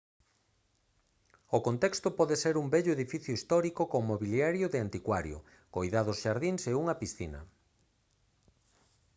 o contexto pode ser un vello edificio histórico con mobiliario de anticuario coidados xardíns e unha piscina